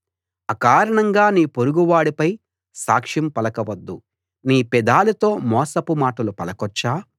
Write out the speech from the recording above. అకారణంగా నీ పొరుగువాడిపై సాక్ష్యం పలక వద్దు నీ పెదాలతో మోసపు మాటలు పలకొచ్చా